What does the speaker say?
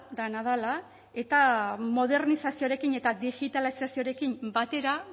dena dela eta modernizazioarekin eta digitalizazioarekin batera